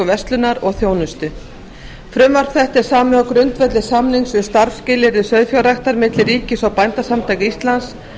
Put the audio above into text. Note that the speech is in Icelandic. verslunar og þjónustu frumvarp þetta er samið á grundvelli samnings um starfsskilyrði sauðfjárræktar milli ríkis og bændasamtaka íslands